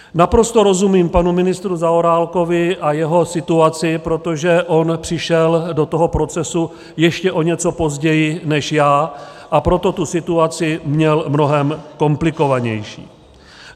Naprosto rozumím panu ministru Zaorálkovi a jeho situaci, protože on přišel do toho procesu ještě o něco později než já, a proto tu situaci měl mnohem komplikovanější.